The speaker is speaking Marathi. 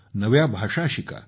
नव्या भाषा शिका